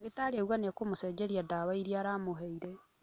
Ndagĩtarĩ auga nĩekũmũcenjeria dawa ĩria aramũheire